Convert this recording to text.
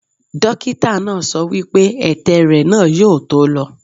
Dókítà náà sọ wípé ètè rẹ̀ náà yóò tó lọ.